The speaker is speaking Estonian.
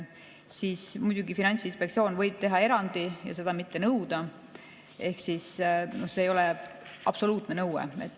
Siis võib Finantsinspektsioon muidugi teha erandi ja seda mitte nõuda ehk see ei ole absoluutne nõue.